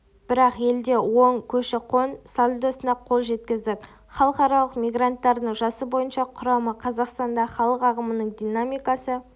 бірақ елде оң көші-қон сальдосына қол жеткіздік халықаралық мигранттардың жасы бойынша құрамы қазақстандағы халық ағымының динамикасы